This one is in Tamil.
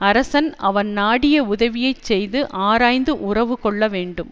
அரசன் அவன் நாடிய உதவியைச் செய்து ஆராய்ந்து உறவு கொள்ள வேண்டும்